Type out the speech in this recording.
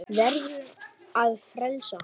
Verður að frelsa hann.